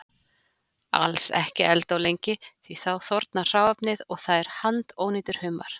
Alls ekki elda of lengi því þá þornar hráefnið og það er handónýtur humar.